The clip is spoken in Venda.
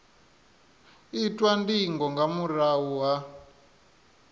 itwa ndingo nga murahu ha